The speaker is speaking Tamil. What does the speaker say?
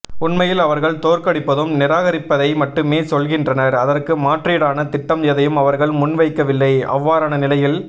உண்மையில் அவர்கள் தோற்கடிப்பதும் நிராகரிப்பதை மட்டுமே சொல்கின்றனர் அதற்கு மாற்றீடான திட்டம் எதையும் அவர்கள் முன்வைக்கவில்லை அவ்வாறான நிலையில்